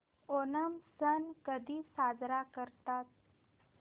ओणम सण कधी साजरा करतात